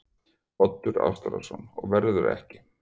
Oddur Ástráðsson: Og verður ekki?